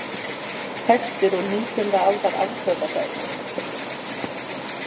Þekktur og nítjánda aldar afbrotafræðingur.